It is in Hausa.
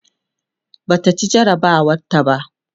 Bata ci jarabawar ta ba